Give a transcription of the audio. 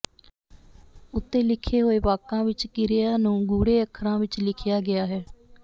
ਉੱਤੇ ਲਿਖੇ ਹੋਏ ਵਾਕਾਂ ਵਿਚ ਕਿਰਿਆ ਨੂੰ ਗੂੜ੍ਹੇ ਅੱਖਰਾਂ ਵਿਚ ਲਿਖਿਆ ਗਿਆ ਹੈ